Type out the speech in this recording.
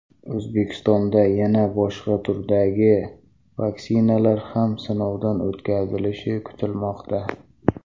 O‘zbekistonda yana boshqa turdagi vaksinalar ham sinovdan o‘tkazilishi kutilmoqda.